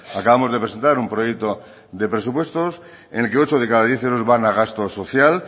acabamos de presentar un proyecto de presupuestos en el que ocho de cada diez euros van a gasto social